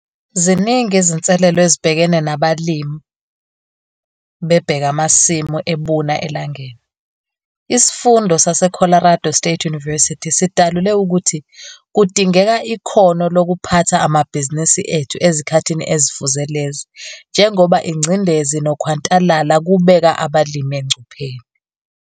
Ziningi izinselelo ezibhekene nabalimi bebheke amasimu ebuna elangeni. Isifundo sase-Colorado State University sidalule ukuthi kudingeka ikhono lokuphatha amabhizinisi ethu ezikhathini ezifuze lezi njengoba ingcindezi nokhwantalala kubeka abalimi engcupheni.